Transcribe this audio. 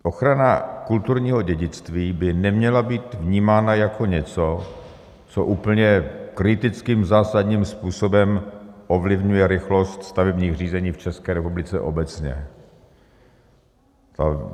Ochrana kulturního dědictví by neměla být vnímána jako něco, co úplně kritickým, zásadním způsobem ovlivňuje rychlost stavebních řízení v České republice obecně.